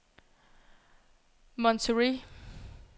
Monterrey